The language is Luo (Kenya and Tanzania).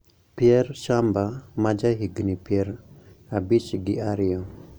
Pierre Tchamba, ma ja higini pier abich gi ariyo